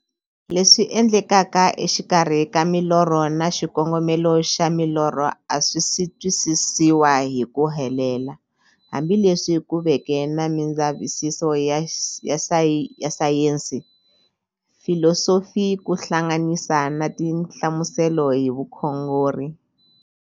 Leswi endlekaka exikarhi ka milorho na xikongomelo xa milorho a swisi twisisiwa hi ku helela, hambi leswi ku veke na mindzavisiso ya sayensi, filosofi ku hlanganisa na tinhlamuselo hi vukhongori.